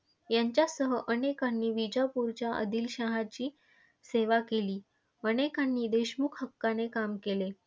यांच्यासह अनेकांनी विजापूरच्या आदिलशहाची सेवा केली. अनेकांनी देशमुख हक्काने काम केले.